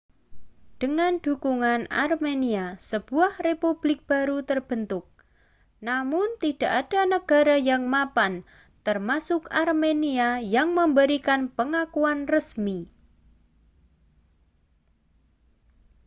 dengan dukungan armenia sebuah republik baru terbentuk namun tidak ada negara yang mapan termasuk armenia yang memberikan pengakuan resmi